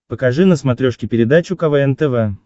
покажи на смотрешке передачу квн тв